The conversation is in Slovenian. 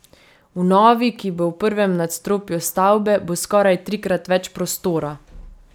V novi, ki bo v prvem nadstropju stavbe, bo skoraj trikrat več prostora.